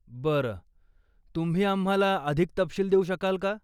बरं, तुम्ही आम्हाला अधिक तपशील देऊ शकाल का?